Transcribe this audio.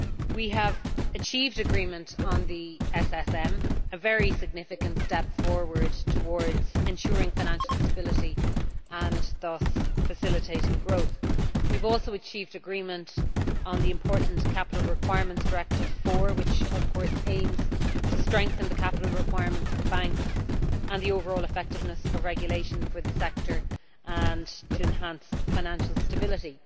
We have reached an agreement on the SSM, a very significant step forward towards ensuring financial stability and thus facilitating growth. We have also achieved agreement on the important Capital Requirements Directive 4, which aims to strengthen the capital requirements for banks and the overall effectiveness of regulation for the sector and to enhance financial stability.